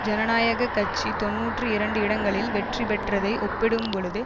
ஜனநாயக கட்சி தொன்னூற்றி இரண்டு இடங்களில் வெற்றி பெற்றதை ஒப்பிடும்பொழுது